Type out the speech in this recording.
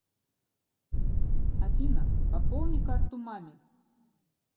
афина пополни карту маме